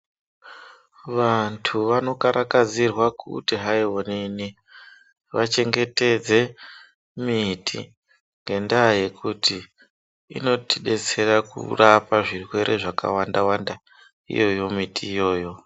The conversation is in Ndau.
Vantu vanokarakadzirwa kuti hai onini vachengetedze miti ngendaa yekuti inotidetsera kurapa zvirwere zvakawanda wanda iyoyo miti iyoyo.